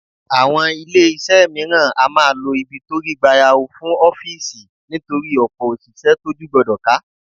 Àwọn ilé iṣẹ́ mìíràn á máa lo ibi tó rí gbayawu fún ọ́fíìsì nítorí ọ̀pọ̀ òṣìṣẹ́ tójú gbọdọ̀ ká.